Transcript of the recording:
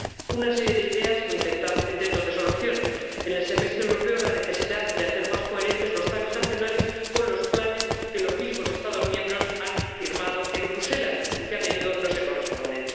Una serie de ideas o intentos de solución en el Semestre Europeo, la necesidad de hacer más coherentes los planes nacionales con los planes que los mismos Estados miembros han firmado en Bruselas, y que a menudo no se corresponden